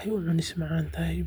aay umacaan tahay.